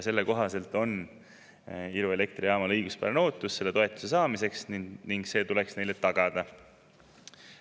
Selle kohaselt on Iru elektrijaamal õiguspärane ootus seda toetust saada ning see tuleks neile tagada.